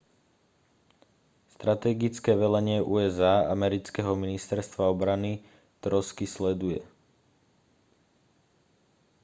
strategické velenie usa amerického ministerstva obrany trosky sleduje